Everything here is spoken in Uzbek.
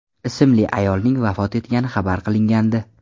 ismli ayolning vafot etgani xabar qilingandi .